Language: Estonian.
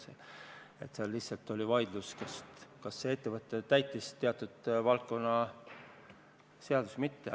Seal oli vaidlus lihtsalt selles, kas kõnealune ettevõte täitis teatud valdkonna seadusi või mitte.